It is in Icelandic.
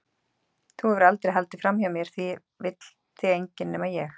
Þú hefur aldrei haldið framhjá mér því það vill þig enginn- nema ég.